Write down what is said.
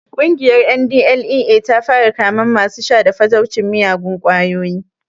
Ƙungiyar NDLEA ta fara kamen masu sha da fataucin miyagun ƙwayoyi